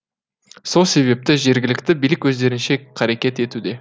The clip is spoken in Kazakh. сол себепті жергілікті билік өздерінше қарекет етуде